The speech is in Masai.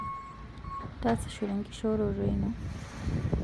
tasishore enkishoroto ino